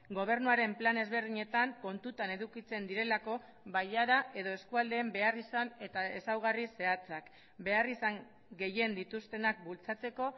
gobernuaren plan ezberdinetan kontutan edukitzen direlako bailara edo eskualdeen beharrizan eta ezaugarri zehatzak beharrizan gehien dituztenak bultzatzeko